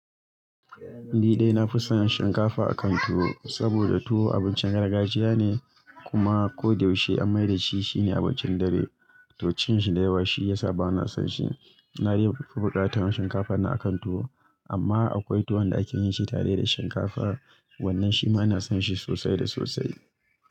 Ni dai na fi son shinkafa a kan tuwo saboda tuwo abincin gargajiya ne kuma ko da yaushe an mai da shi shine abincin dare, to cin shi da yawa shi ya sa ba na son shi. Na rika fuka-fukan tuwo shinkafa na a kan tuwo amma akwai tuwo da ake yin shi tare da shinkafa, wannan shi ma ina son shi sosai da sosai.